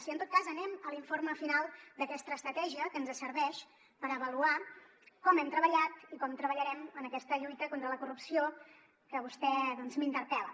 i en tot cas anem a l’informe final d’aquesta estratègia que ens serveix per avaluar com hem treballat i com treballarem en aquesta lluita contra la corrupció que vostè m’interpel·la